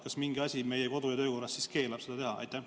Kas mingi asi meie kodu- ja töökorras keelab seda teha?